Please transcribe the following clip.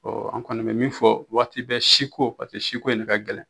an kɔni mɛ min fɔ waati bɛɛ siko paseke siko in ne ka gɛlɛn.